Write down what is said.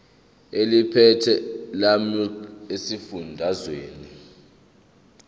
eliphethe lamarcl esifundazwe